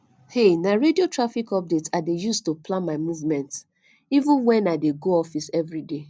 um na radio traffic updates i dey use to plan my movement even wen i dey go office every day